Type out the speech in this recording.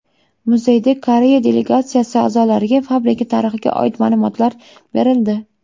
Muzeyda Koreya delegatsiyasi a’zolariga fabrika tarixiga oid ma’lumotlar berildi.